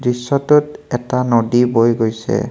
দৃশ্যটোত এটা নদী বৈ গৈছে।